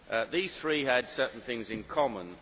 These three had certain things in common.